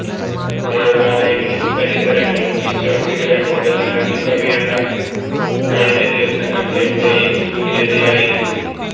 ദേവാലയങ്ങളും പരിസരങ്ങളും വിശ്വാസികളെക്കൊണ്ടു നിറഞ്ഞു കവിയേണ്ട കഴിഞ്ഞ ദിവസങ്ങള് എവിടേയും ശുന്യതയായിരുന്നു